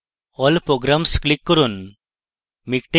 all programs click করুন